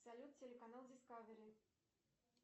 салют телеканал дискавери